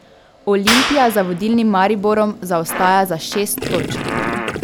Olimpija za vodilnim Mariborom zaostaja za šest točk.